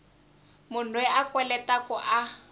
munhu loyi a kweletaku a